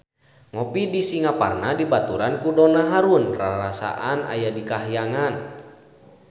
Ngopi di Singaparna dibaturan ku Donna Harun rarasaan aya di kahyangan